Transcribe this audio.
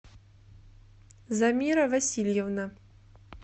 замира васильевна